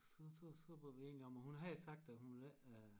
Så så så var vi enige om at hun havde sagt at hun ville ikke øh